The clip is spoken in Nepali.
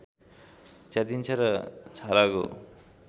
च्यातिन्छ र छालाको